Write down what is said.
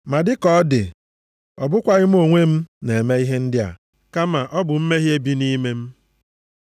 Ma dịka ọ dị, ọ bụkwaghị mụ onwe m na-eme ihe ndị a, kama ọ bụ mmehie bi nʼime m.